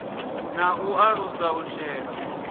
na u alusa u shela